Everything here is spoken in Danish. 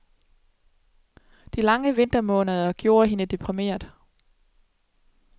De lange vintermåneder gjorde hende deprimeret.